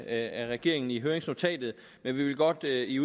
af regeringen i høringsnotatet men vi vil godt i